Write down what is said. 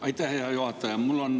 Aitäh, hea juhataja!